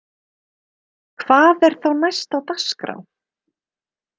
Hvað er þá næst á dagskrá?